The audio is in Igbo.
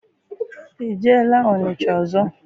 I jeela Ọnịcha ọzọ?